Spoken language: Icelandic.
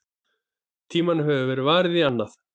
Tímanum hefur verið varið í annað.